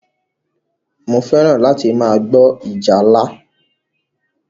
Mo fẹ́ràn láti máa gbọ́ ìjálá.